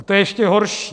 A to je ještě horší.